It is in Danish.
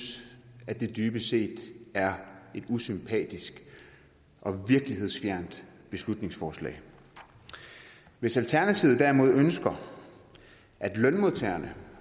at det dybest set er et usympatisk og virkelighedsfjernt beslutningsforslag hvis alternativet derimod ønsker at lønmodtagerne